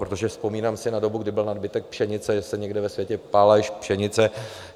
Protože vzpomínám si na dobu, kdy byl nadbytek pšenice, že se někde ve světě pálila i pšenice.